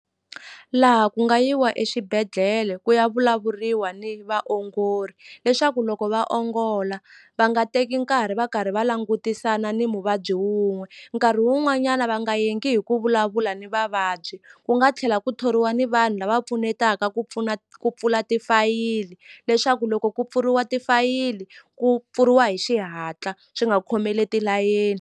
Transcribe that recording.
Laha ku nga yiwa exibedhlele ku ya vulavuriwa ni vaongori leswaku loko va ongola va nga teki nkarhi va karhi va langutisana ni muvabyi wun'we nkarhi wun'wanyana va nga yaegi hi ku vulavula ni vavabyi ku nga tlhela ku thoriwa ni vanhu lava pfunetaka ku pfuna ku pfula tifayili leswaku loko ku pfuriwa tifayili ku pfuriwa hi xihatla swi nga khomeleti layeni.